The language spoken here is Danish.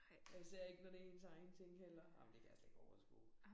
Og især ikke når det ens egne ting heller. Ej men det kan jeg slet ikke overskue